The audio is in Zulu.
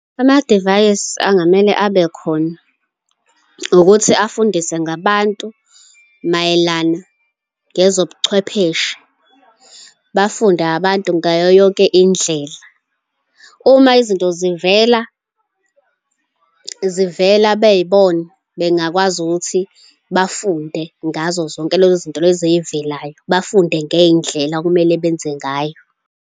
Amadivayisi angamele abe khona ukuthi afundise ngabantu mayelana ngezobuchwepheshe, bafunde abantu ngayo yonke indlela. Uma izinto zivela, zivela bey'bona, bengakwazi ukuthi bafunde ngazo zonke lezo zinto lezo ey'velayo, bafunde ngey'ndlela okumele benze ngayo.